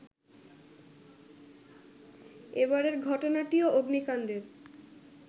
এবারের ঘটনাটিও অগ্নিকাণ্ডের